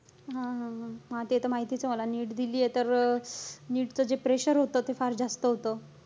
हा-हा-हा. हां, ते त माहितीच आहे मला, NEET दिलीये तर, NEET च जे pressure होतं, ते फार जास्त होतं.